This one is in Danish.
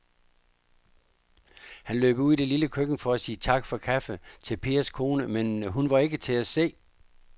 Han løb ud i det lille køkken for at sige tak for kaffe til Pers kone, men hun var ikke til at se.